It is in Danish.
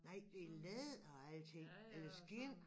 Nej det læder og alting er det skind?